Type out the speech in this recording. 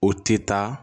O tɛ taa